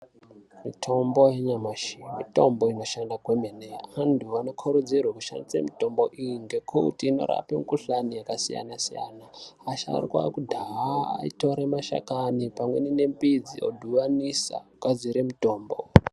Mitombo yanyamashi mitombo inoshanda kwemene vantu vanokurudzirwe kushandise mitombo iyi ngekuti inorape mikhuhlane yakasiyansiyana asharukwa ekudhaya aitore mashakani pamwenemidzi odhibanisa ogadzire mitombo .